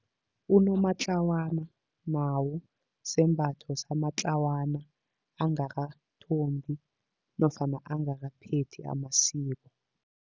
Unomatlawana nawo sembatho samatlawana angakathombi nofana angakaphethi amasiko.